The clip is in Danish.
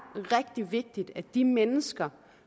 rigtig vigtigt at de mennesker